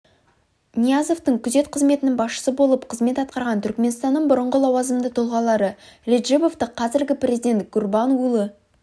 ниязовтың күзет қызметінің басшысы болып қызмет атқарған түркіменстанның бұрынғы лауазымды тұлғалары реджебовті қазіргі президент гурбангулы